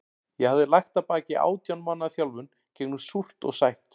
Ég hafði lagt að baki átján mánaða þjálfun gegnum súrt og sætt.